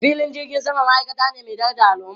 Filin jirgin sama ma'aikata ce mai daraja a al'umma.